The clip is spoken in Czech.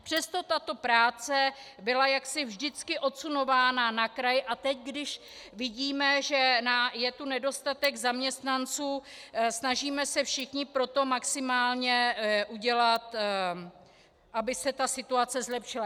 Přesto tato práce byla jaksi vždycky odsunována na kraj a teď, když vidíme, že je tu nedostatek zaměstnanců, snažíme se všichni pro to maximálně udělat, aby se situace zlepšila.